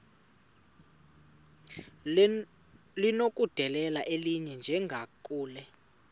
linokudedela elinye njengakule